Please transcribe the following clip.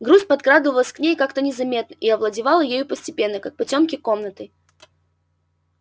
грусть подкрадывалась к ней как-то незаметно и овладевала ею постепенно как потёмки комнатой